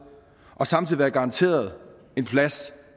og samtidig være garanteret en plads